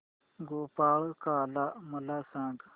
गोपाळकाला मला सांग